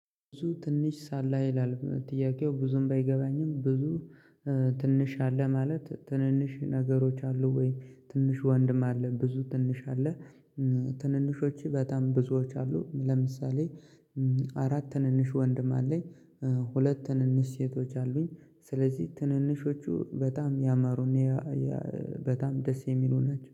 ብዙ ትንሽ ሳለ ይላል ጥያቄው ብዙም ባይገባኝም ብዙ ትንሽ አለ ማለት ትንንሽ ነገሮች አሉ ወይ? ትንሽ ወንድም አለ ብዙ ትንሽ አለ። ትንንሾቹ በጣም ብዙዎች አሉ። ለምሳሌ አራት ትንንሽ ወንድም አለኝ። ሁለት ትንንሽ ሴቶች አሉኝ። ስለዚህ ትንንሾቹ በጣም ያማሩና ያያ በጣም ደስ የሚሉ ናቸው